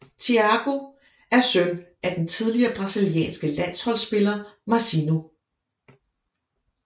Thiago er søn af den tidligere brasilianske landsholdspiller Mazinho